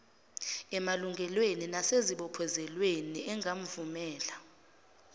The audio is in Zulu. emalungelweni nasezibophezelweni engamvumela